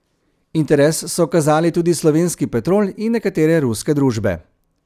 Interes so kazali tudi slovenski Petrol in nekatere ruske družbe.